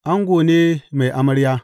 Ango ne mai amarya.